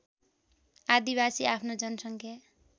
आदिवासी आफ्नो जनसङ्ख्या